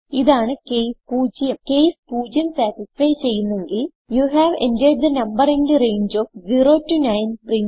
ഇതാണ് case 0 case 0 satisfy ചെയ്യുന്നെങ്കിൽ you have entered the number in the range of 0 9